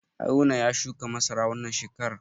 Haruna ya shuka masara wannan shekarar.